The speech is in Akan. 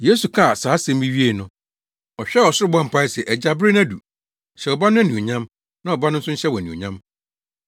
Yesu kaa saa nsɛm yi wiee no, ɔhwɛɛ ɔsoro bɔɔ mpae se, “Agya, bere no adu. Hyɛ wo Ba no anuonyam, na Ɔba no nso nhyɛ wo anuonyam.